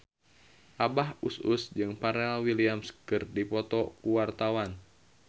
Abah Us Us jeung Pharrell Williams keur dipoto ku wartawan